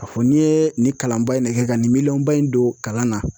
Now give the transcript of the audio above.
Ka fɔ n'i ye nin kalanba in ne kɛ ka nin miliyɔn ba in don kalan na